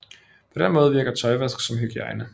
På den måde virker tøjvask som hygiejne